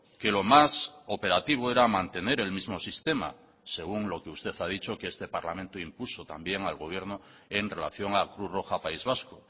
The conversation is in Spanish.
que lo más operativo era mantener el mismo sistema según lo que usted ha dicho que este parlamento impuso también al gobierno en relación a cruz roja país vasco